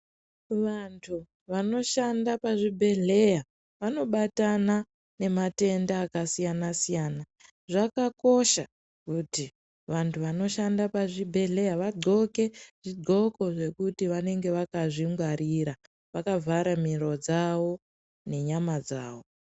Vantu vanoshanda pachibhedhleya vanobatana nematenda akasiyana-siyana. Zvakakosha kuti vantu vanoshanda pazvibhedhleya vadhloke zvidhloko zvekuti vanenge vakazvingwarira vakavhara miro dzavo nenyama dzavo.